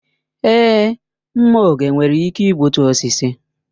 Èé, mma oge nwere ike igbutu osisi.